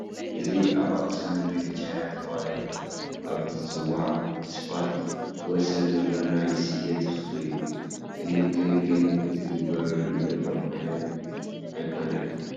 እዚ ኣብ ኣኽሱም መንገዲ ቻይና ተባሂሉ ኣብ ዝፅዋዕ ስፋልት ወሰን ዘሎ ናይ ስየ ተኽሊ እዩ፡፡ ክንክን ግን ዝግበረሉ ዘሎ ዓይነት ኣይኮነን፡፡